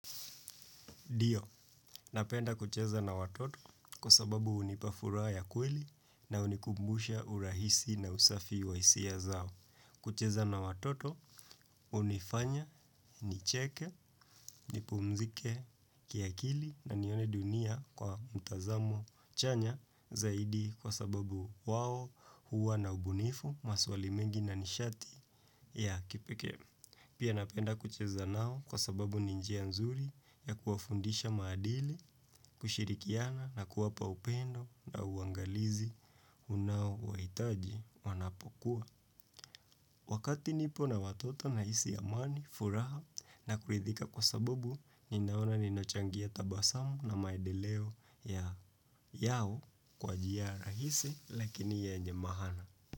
Dio, napenda kucheza na watoto kwa sababu unipa furaha ya kweli na unikumbusha urahisi na usafi wa isia zao. Kucheza na watoto, unifanya, nicheke, nipumzike, kiakili na nione dunia kwa mtazamo chanya zaidi kwa sababu wao huwa na ubunifu maswali mengi na nishati ya kipekee. Pia napenda kucheza nao kwa sababu ni njia nzuri ya kuwafundisha maadili, kushirikiana na kuwapa upendo na uangalizi unaowahitaji wanapokua. Wakati nipo na watota nahisi amani, furaha na kuridhika kwa sababu, ninaona ninachangia tabasamu na maedeleo ya yao kwa jia rahisi lakini yenye mahana.